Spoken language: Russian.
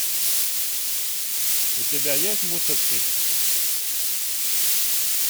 у тебя есть мусорщик